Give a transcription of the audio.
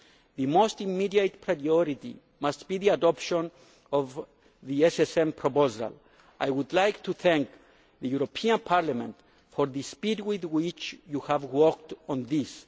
The most immediate priority must be the adoption of the SSM proposal. I would like to thank the European Parliament for the speed with which you have worked on this.